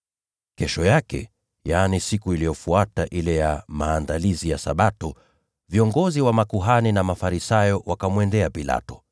Kesho yake, yaani siku iliyofuata ile ya Maandalizi ya Sabato, viongozi wa makuhani na Mafarisayo wakamwendea Pilato